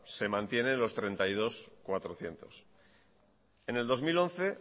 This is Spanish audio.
se mantiene en los treinta y dos millónes cuatrocientos mil en el dos mil once